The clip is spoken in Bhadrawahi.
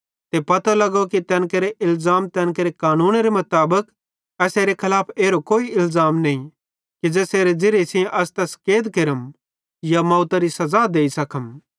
ते पतो लगो कि तैन केरो इलज़ाम तैन केरे कानूनेरे मुताबिक एसेरे खलाफ कोई एरो इलज़ाम नईं कि ज़ेसेरे ज़िरिये सेइं असां तैस कैद केरम या मौतरी सज़ा देइ सखम